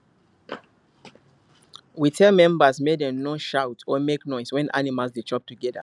we tell members make dem no shout or make noise when animal dey chop together